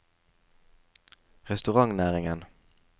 restaurantnæringen